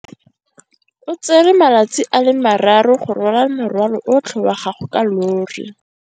O tsere malatsi a le marraro go rwala morwalo otlhe wa gagwe ka llori.